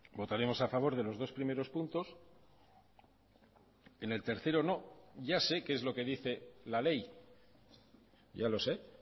votaremos a favor de los dos primeros puntos en el tercero no ya sé qué es lo que dice la ley ya lo se